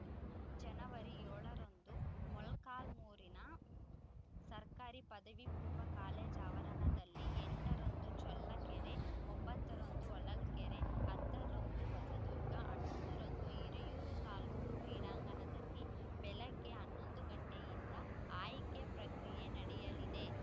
ಜನವರಿ ಏಳರಂದು ಮೊಳಕಾಲ್ಮೂರಿನ ಸರ್ಕಾರಿ ಪದವಿ ಪೂರ್ವ ಕಾಲೇಜು ಆವರಣದಲ್ಲಿ ಎಂಟರಂದು ಚಳ್ಳಕೆರೆ ಒಂಬತ್ತರಂದು ಹೊಳಲ್ಕೆರೆ ಹತ್ತರಂದು ಹೊಸದುರ್ಗ ಹನ್ನೊಂದರಂದು ಹಿರಿಯೂರು ತಾಲೂಕು ಕ್ರೀಡಾಂಗಣದಲ್ಲಿ ಬೆಳಗ್ಗೆ ಹನ್ನೊಂದು ಗಂಟೆಯಿಂದ ಆಯ್ಕೆ ಪ್ರಕ್ರಿಯೆ ನಡೆಯಲಿದೆ